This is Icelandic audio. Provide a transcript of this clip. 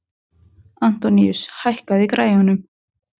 Antoníus, hækkaðu í græjunum.